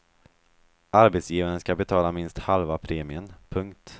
Arbetsgivaren skall betala minst halva premien. punkt